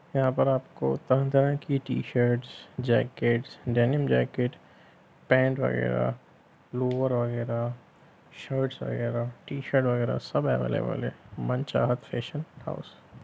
यहां पर आपको तरह-तरह की टी-शर्ट्स जैकेट्स डेनिम-जैकेट्स पैंट वगैरा लोवर वगैरा शर्टस वगैरा टी-शर्ट वगैरा सब अवैलेबल है मनचाहत फैशन हाउस ।